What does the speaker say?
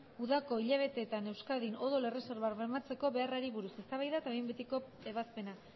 udako hilabeteetan euskadin odol erreserbak bermatzeko beharrari buruz eztabaida eta behin betiko ebazpena